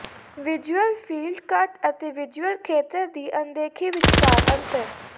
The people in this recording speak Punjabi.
ਵਿਜ਼ੁਅਲ ਫ਼ੀਲਡ ਕੱਟ ਅਤੇ ਵਿਜ਼ੁਅਲ ਖੇਤਰ ਦੀ ਅਣਦੇਖੀ ਵਿਚਕਾਰ ਅੰਤਰ